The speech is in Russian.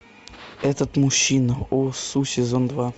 этот мужчина о су сезон два